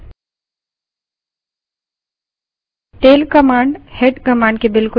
presentation पर वापस चलते हैं